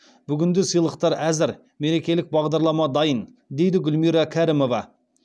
бүгінде сыйлықтар әзір мерекелік бағдарлама дайын дейді гүлмира кәрімова